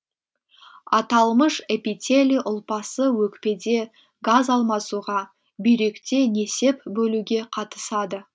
аталмыш эпителий ұлпасы өкпеде газ алмасуға бүйректе несеп бөлуге қатысады